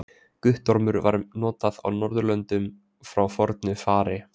Guttormur var notað á Norðurlöndum frá fornu fari.